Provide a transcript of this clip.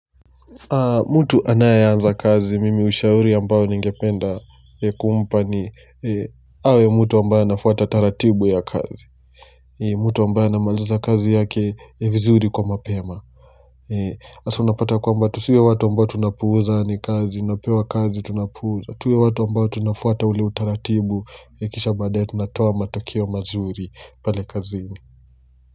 Mtu anayeanza kazi mimi ushauri ambayo ningependa kumpa ni awe mtu ambayo anafuata taratibu ya kazi mtu ambayo anamaliza kazi yake vizuri kwa mapema Hasa unapata kwamba tusiwe watu ambao tunapuuza ni kazi Napewa kazi tunapuuza tuwe watu ambao tunafuata ule utaratibu Kisha baadaye tunatoa matukio mazuri pale kazini.